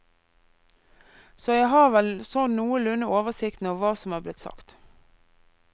Så jeg har vel sånn noenlunde oversikten over hva som er blitt sagt.